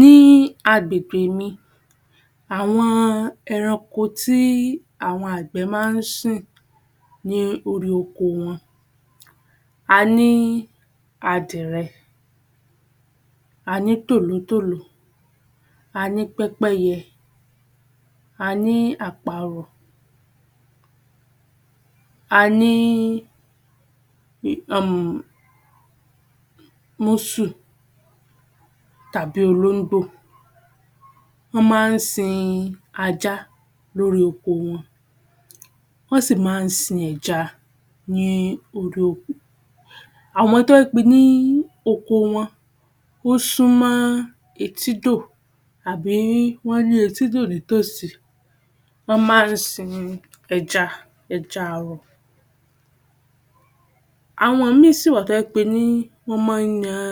Ní agbègbè mi, àwọn ẹranko tí àwọn àgbẹ̀ máa ń sìn ní orí oko wọn. A ní adìrẹ, a ní tòlótòló, a ní pẹ́pẹ́yẹ, a ní àparò, a ní um músù tàbí olóńgbò. Wọ́n máa ń sin ajá lórí oko wọn. Wọ́n sì máa ń sin ẹja ní orí oko. Àmọ́ tó bá jẹ́ pé ní oko wọn, ó súmọ́ etídò àbí wọ́n ní etídò ní tòsí, wọ́n máa ń sin ẹja, ẹja àrọ̀. Àwọn ìmí sì wà tó jẹ́ pé ní wọ́n máa ń yan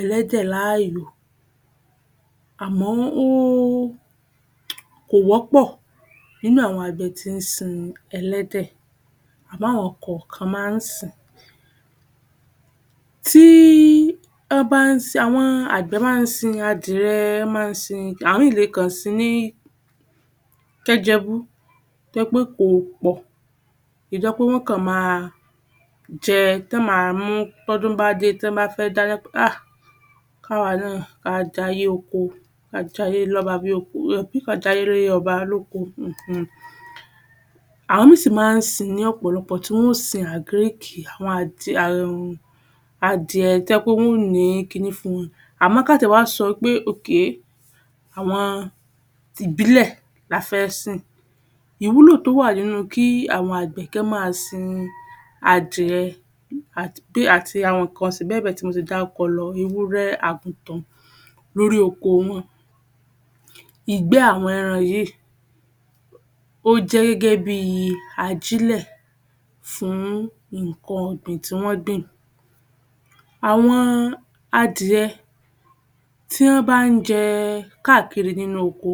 ẹlẹ́dẹ̀ láàyò. Àmọ́ ó, kò wọ́pọ̀ nínú àwọn àgbẹ̀ tí ń sin ẹlẹ́dẹ̀. Àmọ́ àwọn kọ̀ọ̀kan máa ń sìn-ín. Tí wọ́n bá ń sin, àwọn àgbẹ̀ bá ń sin adìrẹ, wọ́n máa ń sin, àwọn ìmí le kàn sìn-ín ní kẹ́jẹ́bú tó jẹ́ pé kò pọ̀. Ìda pé wọ́n kàn máa jẹ, tán ma mú tọ́dún bá dé, tán bá fẹ́ dáná, um ká wa náà ká jayé oko, ka jayé lọ́ba bí ka jayé ọlọ́ba lóko um. Àwọn ìmí sì máa ń sìn ní ọ̀pọ̀lọpọ̀ tí wọ́n ó sin àgríkì, àwọn um adìẹ tó jẹ́ pé wọ́n ò ní kiní fún wọn. Àmọ́ ká tiẹ̀ wá sọ wí pé àwọn tìbílẹ̀ la fẹ́ sìn. Ìwúlò tó wà nínú ki àwọn àgbẹ̀ kán máa sin adìẹ àti pé àti àwọn nǹkan ọ̀sìn bẹ́ẹ̀ bẹ́ẹ̀ tí mo ti dárúkọ lọ ewúré, àgùntàn, lórí oko wọn, ìgbẹ́ àwọn ẹran yìí ó jẹ́ gẹ́gẹ́ bí i ajílẹ̀ fún nǹkan ọ̀gbìn tí wọ́n gbìn. Àwọn adìẹ tí wọ́n bá ń jẹ káàkiri nínú oko,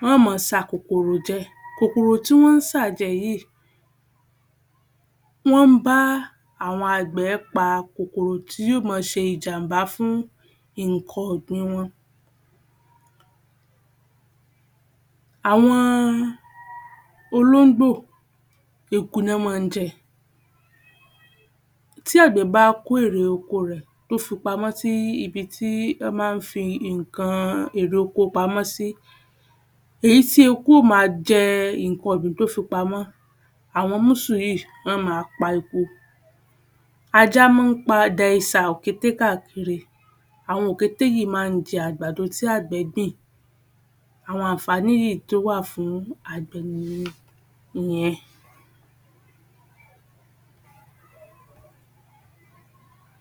wọ́n ó máa sakòkòrò jẹ. Kòkòrò tí wọ́n ń sà jẹ yìí, wọ́n ń bá àwọn àgbẹ̀ pa kòkòrò tí yóò máa ṣe ìjàmbá fún nǹkan ọ̀gbìn wọn. Àwọn olóńgbò, eku ni wọ́n máa ń jẹ. Tí àgbẹ̀ bá kó èrè oko rẹ̀, tó fi pamọ́ tí ibi tí wọ́n máa ń fi nǹkan èrè oko pamọ́ sí, èyí tí eku ó ma jẹ nǹkan ọ̀gbìn tó fi pamọ́, àwọn músù yìí lọ ma pa eku. Ajá máa ń pa òkété káàkiri, àwọn òkété yìí máa ń jẹ àgbàdo tí àgbẹ̀ gbìn. Àwọn ànfàní yìí tó wà fún àgbè nìyẹn ìyẹn